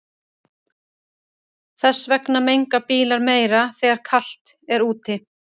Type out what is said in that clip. Þess vegna menga bílar meira þegar er kalt úti.